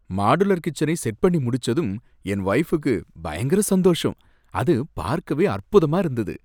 Modular கிச்சனை set பண்ணி முடிச்சதும் என் வொய்ஃபுக்கு பயங்கர சந்தோஷம். அது பார்க்கவே அற்புதமா இருந்தது!